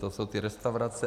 To jsou ty restaurace.